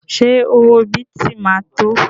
Ṣé owó bìtì ma tó?